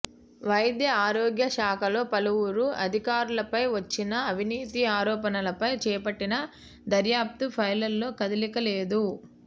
వైద్య ఆరోగ్య శాఖలో పలువురు అధికారులపై వచ్చిన అవినీతి ఆరోపణలపై చేపట్టిన దర్యాప్తు ఫైళ్లల్లో కదలిక లేదు